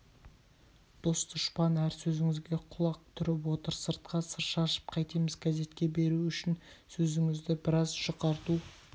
дос-дұшпан әр сөзіңізге құлақ түріп отыр сыртқа сыр шашып қайтеміз газетке беру үшін сөзіңізді біраз жұқарту